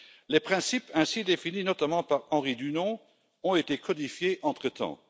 Les principes ainsi définis, notamment par Henry Dunant, ont été codifiés entre temps.